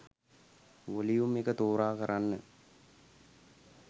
Volume එක තෝරා කරන්න.